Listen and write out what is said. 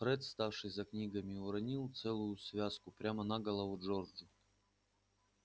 фред вставший за книгами уронил целую связку прямо на голову джорджу